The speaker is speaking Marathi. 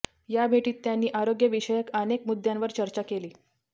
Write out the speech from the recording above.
या भेटीत त्यांनी आरोग्य विषयक अनेक मुद्द्यांवर चर्चा केली